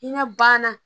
Hinɛ ban na